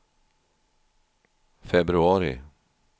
februari